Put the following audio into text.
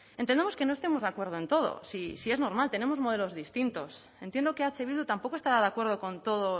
entendemos que no estemos de acuerdo en todo si es normal tenemos modelos distintos entiendo que eh bildu tampoco estará de acuerdo con todo